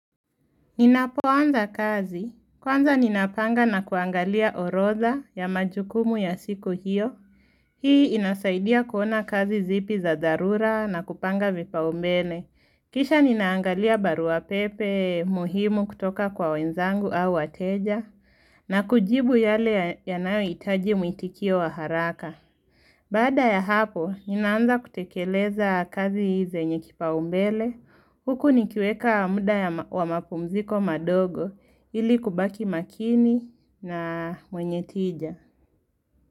Ninapoanza kazi, kwanza ninapanga na kuangalia horodha ya majukumu ya siku hiyo, hii inasaidia kuona kazi zipi za dharura na kupanga vipaumbele. Kisha ninaangalia baruapepe muhimu kutoka kwa wenzangu au wateja, na kujibu yale yanayo itaji muitikio wa haraka. Baada ya hapo, ninaanza kutekeleza kazi hii zenye kipa umbele, huku nikiweka muda wa mapumziko madogo ili kubaki makini na mwenye tija.